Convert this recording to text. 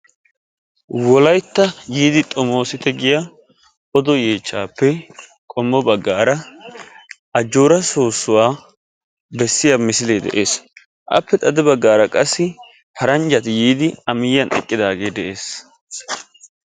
wolaytta yiidi xomoosite giya odo yechaappe qommo bagaara ajoora soosuwa bessiya misilee de'eed. appe xade bagaara qassi paranjjati yiidi a miyiyan eqqidaagee de'ees.